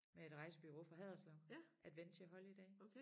Med et rejsebureau fra Haderslev Adventure Holidays